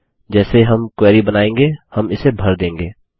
जैसे हम क्वेरी बनायेंगे हम इसे भर देंगे